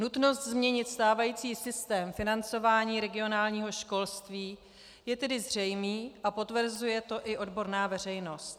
Nutnost změnit stávající systém financování regionálního školství je tedy zřejmá a potvrzuje to i odborná veřejnost.